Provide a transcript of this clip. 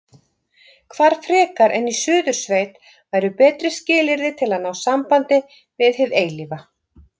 Hvar frekar en í Suðursveit væru betri skilyrði til að ná sambandi við hið eilífa?